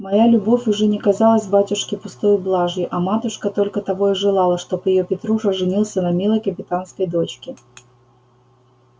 моя любовь уже не казалась батюшке пустою блажью а матушка только того и желала чтоб её петруша женился на милой капитанской дочке